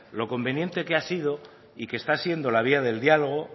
lo conveniente que ha sido y que está siendo la vía del diálogo